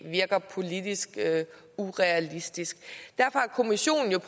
virker politisk urealistisk derfor har kommissionen jo